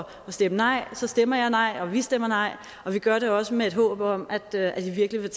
stemme nej så stemmer jeg nej og vi stemmer nej og vi gør det også med et håb om at det her virkelig vil